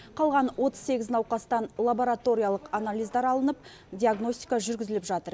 қалған отыз сегіз науқастан лабораториялық анализдар алынып диагностика жүргізіліп жатыр